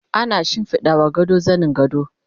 ana shimfiɗawa gado zanin gado